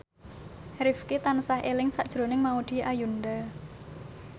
Rifqi tansah eling sakjroning Maudy Ayunda